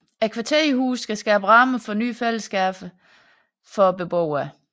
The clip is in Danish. Kvarterhusene skal skabe rammer for nye fællesskaber for beboerne